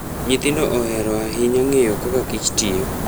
Nyithindo ohero ahinya ng'eyo kaka kich tiyo.